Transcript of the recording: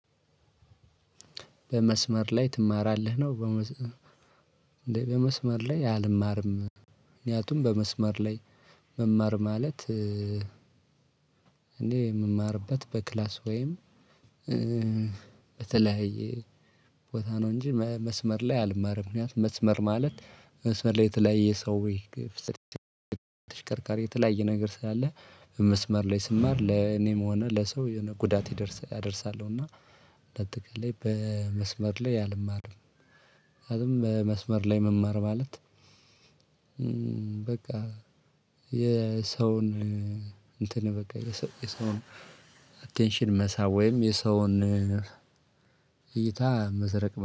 በመስመር ላይ ትማራለህ ነው? በመስመር ላይ አልማርም። ምክንያቱም በመስመር ላይ መማር ማለት እኔ የምማርበት በክላስ ወይም በተለያየ ቦታ ነው። እንጂ መስመር ላይ አልማርም። ምክንያት መስመር ማለት መስመር ላይ የተለያየ ሰው። ወይ ተሽከርካሪ የተለያየ ነገር ስላለ መስመር ላይ ስማር ለኔም ሆነ ለሰው የሆነ ጉዳት ይደርሳ አደርሳለሁ። እና እንዳትቃላይ በመስመር ላይ አልማርም። አልም በመስመር ላይ መማር ማለት በቃ የሰውን እንትን በቃ የሰውን አቴንሽን መሳብ ወይም የሰውን እይታ መስረቅ